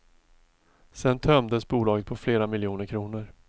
Sedan tömdes bolaget på flera miljoner kronor.